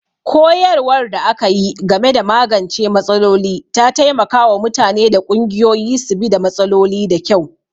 Koyarwar da aka yi game da magance matsaloli ta taimaka wa mutane da ƙungiyoyi su bi da matsaloli da kyau.